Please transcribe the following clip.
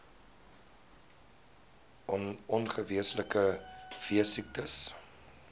on ongewenste veesiektes